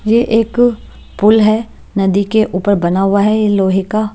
ये एक पुल है नदी के ऊपर बना हुआ है ये लोहे क--